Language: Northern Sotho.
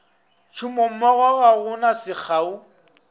tšhomommogo ga go na sekgao